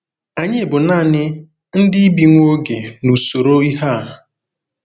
Anyị bụ nanị “ndị bi nwa oge” n’usoro ihe a.